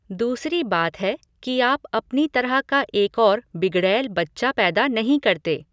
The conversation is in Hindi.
दूसरी बात है कि आप अपनी तरह का एक और बिगड़ैल बच्चा पैदा नहीं करते।